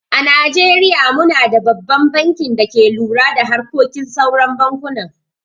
A najeriya mu na da babban bankin da ke lura da harkokin sauran bankunan.